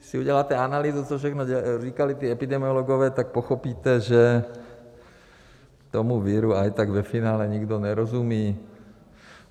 Když si uděláte analýzu, co všechno říkali ti epidemiologové, tak pochopíte, že tomu viru i tak ve finále nikdo nerozumí.